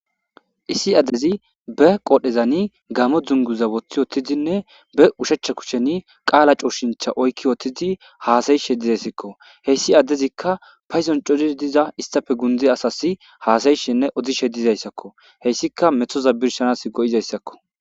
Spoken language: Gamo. Issi addezi be qoodhezani gamo dzunguza woththi wottidinne be ushechcha kusheni qaala cooshincha oykki wothtidi haasayishe dizayssakko. Heyssi addezikka payzon codish diza istafe gundi asas haasayishinne odishe dizayssakko heyssika methoza birshanas go7izayssakko.